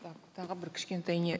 так тағы бір кішкентай не